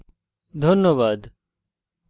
অংশগ্রহনের জন্য ধন্যবাদ